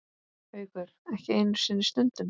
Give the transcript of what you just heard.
Haukur: Ekki einu sinni stundum?